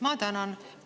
Ma tänan!